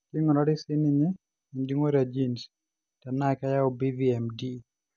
keingurari sii ninye ejungore e genes tenaa keyau BVMD.